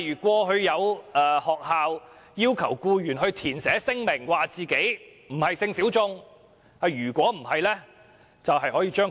過去曾有學校要求僱員填寫聲明，表明自己並非性小眾，否則會被開除。